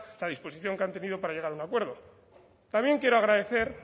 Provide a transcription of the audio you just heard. la disposición que han tenido para llegar a un acuerdo también quiero agradecer